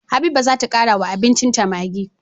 Habiba zata kara wa abincin ta maggi